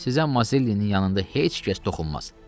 Sizə Mazellinin yanında heç kəs toxunmaz.